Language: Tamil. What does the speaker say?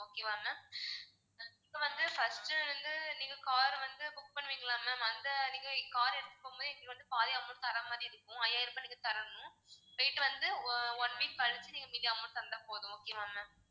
okay வா ma'am நீங்க வந்து first உ வந்து நீங்க car அ வந்து book பன்ணுவீங்களா ma'am அந்த நீங்க car அ எடுக்கும் போதே நீங்க வந்து பாதி amount தர்ற மாதிரி இருக்கும் ஐயாயிரம் ரூபாய் நீங்க தரணும் போயிட்டு வந்து ஆஹ் one week கழிச்சி நீங்க மீதி amount தந்தா போதும் okay வா ma'am